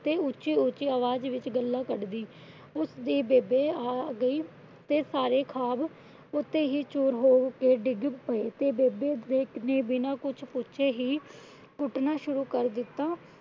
ਤੇ ਉੱਚੀ ਉੱਚੀ ਆਵਾਜ਼ ਵਿੱਚ ਗਾਲ੍ਹਾਂ ਕੱਢਦੀ ਉਸਦੀ ਬੇਬੇ ਆ ਗਈ। ਤੇ ਸਾਰੇ ਖ਼ਵਾਬ ਉੱਥੇ ਹੀ ਚੂਰ ਹੋ ਕੇ ਡਿੱਗ ਪਏ। ਤੇ ਬੇਬੇ ਨੇ ਬਿਨਾ ਕੁਛ ਪੁੱਛੇ ਹੀ ਕੁੱਟਣਾ ਸ਼ੁਰੂ ਕਰਤਾ।